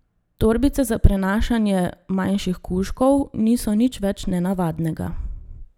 Torbice za prenašanje manjših kužkov niso nič več nenavadnega.